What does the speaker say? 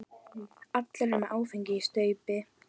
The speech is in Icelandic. Allir eru með áfengi í staupi.